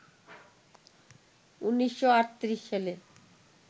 ১৯৩৮ সালে